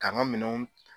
K'an ka minɛnw